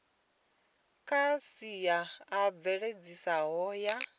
kha sia a mveledziso ya